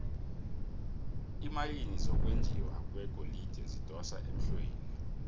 iimayini zokwenjiwa kwegolide zidosa emhlweni